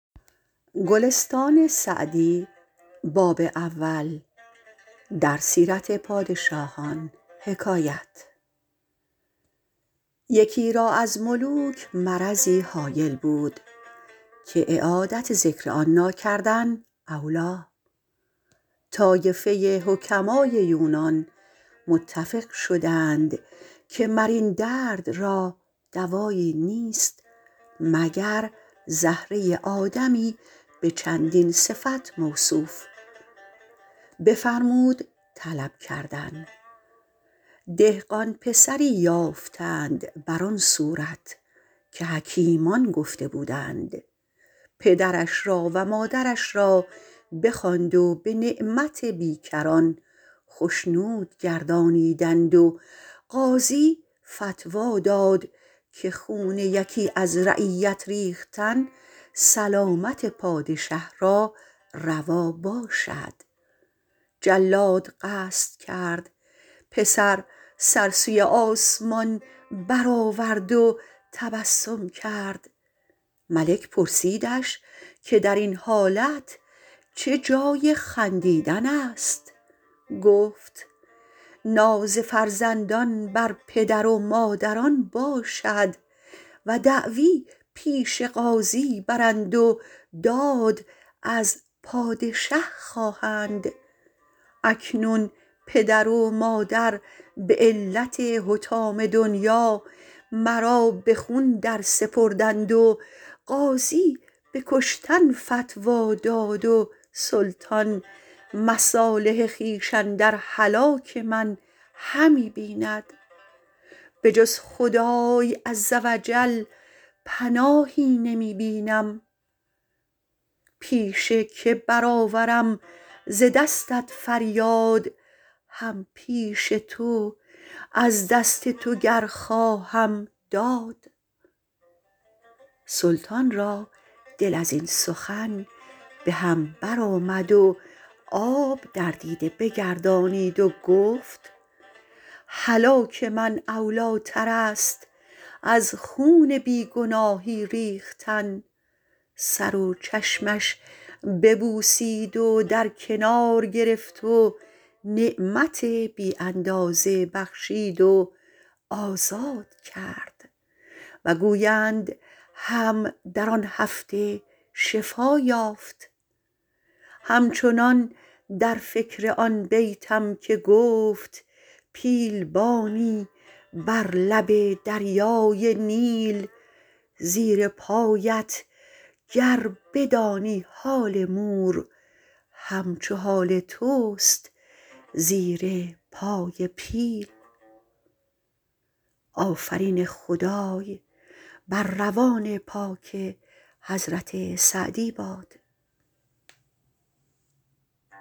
یکی را از ملوک مرضی هایل بود که اعادت ذکر آن ناکردن اولیٰ طایفه حکمای یونان متفق شدند که مر این درد را دوایی نیست مگر زهره آدمی به چندین صفت موصوف بفرمود طلب کردن دهقان پسری یافتند بر آن صورت که حکیمان گفته بودند پدرش را و مادرش را بخواند و به نعمت بیکران خشنود گردانیدند و قاضی فتویٰ داد که خون یکی از رعیت ریختن سلامت پادشه را روا باشد جلاد قصد کرد پسر سر سوی آسمان بر آورد و تبسم کرد ملک پرسیدش که در این حالت چه جای خندیدن است گفت ناز فرزندان بر پدران و مادران باشد و دعوی پیش قاضی برند و داد از پادشه خواهند اکنون پدر و مادر به علت حطام دنیا مرا به خون درسپردند و قاضی به کشتن فتویٰ داد و سلطان مصالح خویش اندر هلاک من همی بیند به جز خدای عزوجل پناهی نمی بینم پیش که بر آورم ز دستت فریاد هم پیش تو از دست تو گر خواهم داد سلطان را دل از این سخن به هم بر آمد و آب در دیده بگردانید و گفت هلاک من اولیٰ تر است از خون بی گناهی ریختن سر و چشمش ببوسید و در کنار گرفت و نعمت بی اندازه بخشید و آزاد کرد و گویند هم در آن هفته شفا یافت هم چنان در فکر آن بیتم که گفت پیل بانی بر لب دریای نیل زیر پایت گر بدانی حال مور هم چو حال توست زیر پای پیل